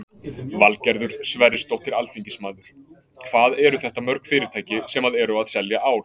Valgerður Sverrisdóttir, alþingismaður: Hvað eru þetta mörg fyrirtæki sem að eru að selja ál?